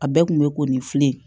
A bɛɛ kun bɛ ko nin filɛ